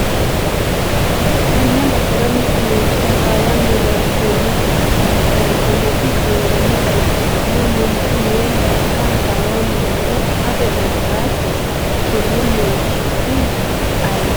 tenne basera mittu manchi hasaawanna leeltannoti qaangannita ikkitanna, manchu mayi daafira hasaawanni nooro afate dandaatto? konni manchi su'mi ayeeti ?